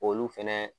Olu fɛnɛ